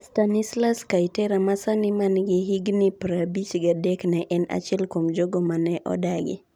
Stanislus Kayitera, ma sani man gi higni 53, ne en achiel kuom jogo mane odagi.